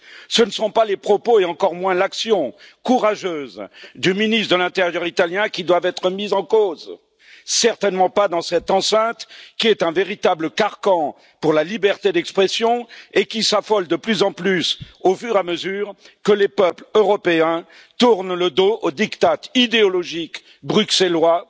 Ce ne sont pas les propos, et encore moins l'action courageuse du ministre de l'intérieur italien qui doivent être mis en cause, certainement pas dans cette enceinte qui est un véritable carcan pour la liberté d'expression et qui s'affole de plus en plus au fur et à mesure que les peuples européens tournent le dos aux diktats idéologiques bruxellois,